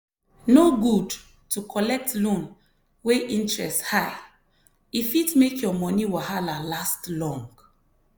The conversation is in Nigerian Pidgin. no good to collect loan wey interest high e fit make your money wahala last long.